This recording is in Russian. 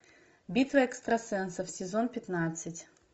битва экстрасенсов сезон пятнадцать